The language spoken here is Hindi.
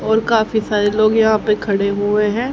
और काफी सारे लोग यहां पर खड़े हुए हैं।